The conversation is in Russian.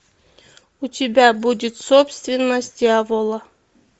у тебя будет собственность дьявола